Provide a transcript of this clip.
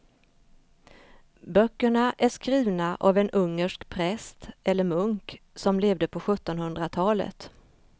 Böckerna är skrivna av en ungersk präst eller munk som levde på sjuttonhundratalet.